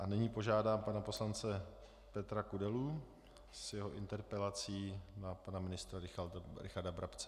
A nyní požádám pana poslance Petra Kudelu s jeho interpelací na pana ministra Richarda Brabce.